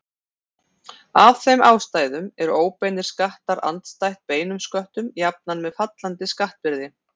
Af þeim ástæðum eru óbeinir skattar andstætt beinum sköttum jafnan með fallandi skattbyrði.